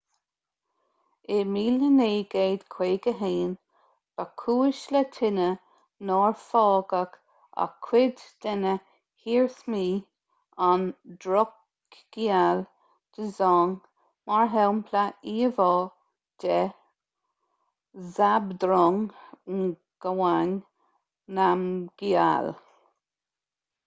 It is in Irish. in 1951 ba chúis le tine nár fágadh ach cuid de na hiarsmaí an drukgyal dzong mar shampla íomhá de zhabdrung ngawang namgyal